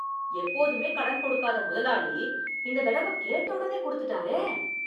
எப்போதுமே கடன் கொடுக்காத முதலாளி இந்த தடவ கேட்ட உடனே கொடுத்துட்டாரே